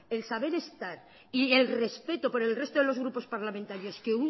el saber estar y el respecto por el resto de los grupos parlamentarios que